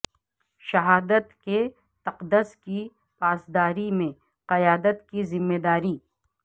شہادت کے تقدس کی پاسداری میں قیادت کی ذمہ داری